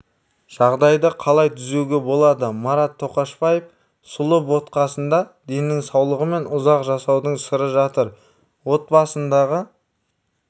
жағдайды қалай түзеуге болады марат тоқашбаев сұлы ботқасында деннің саулығы мен ұзақ жасаудың сыры жатыр отбасындағы